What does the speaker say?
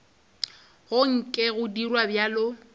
go nke go dirwa bjalo